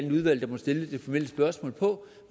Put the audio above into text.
få